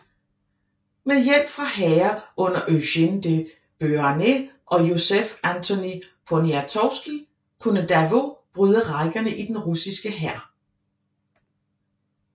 Med hjælp fra hære under Eugène de Beauharnais og Józef Antoni Poniatowski kunne Davout bryde rækkerne i den russiske hær